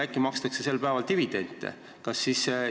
Äkki makstakse sel ajal dividende?